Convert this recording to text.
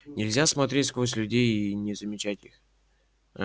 нельзя смотреть сквозь людей и не замечать их